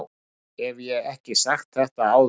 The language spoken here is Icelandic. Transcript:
Hef ég ekki sagt þetta áður?